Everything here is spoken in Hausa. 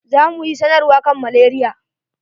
Za mu yi sanarwan kan malaria.